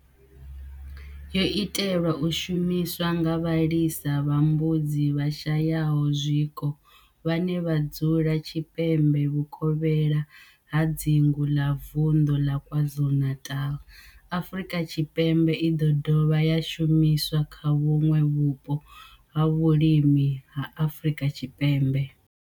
Yo itelwa u shumiswa nga vhalisa vha mbudzi vhashayaho zwiko vhane vha dzula tshipembe vhuvokhela ha dzingu la vundu la KwaZulu-Natal, Afrika Tshipembe i do dovha ya shumiswa kha vhuṋwe vhupo ha vhulimi ha Afrika Tshipembe.